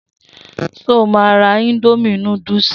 So má ra indomie núdúsì?